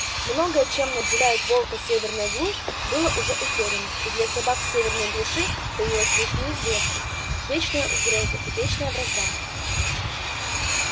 многое чем наделяет волка северная глушь было уже утеряно и для собак в северной глуши таилась лишь неизвестность вечная угроза и вечная вражда